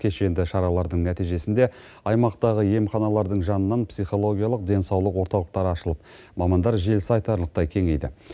кешенді шаралардың нәтижесінде аймақтағы емханалардың жанынан психологиялық денсаулық орталықтары ашылып мамандар желісі айтарлықтай кеңейді